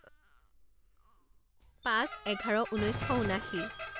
পাঁচ এঘাৰ ঊনৈছ শ ঊনাশী